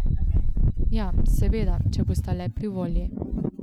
Ja, seveda, če bosta le pri volji.